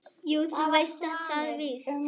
Jú, þú veist það víst.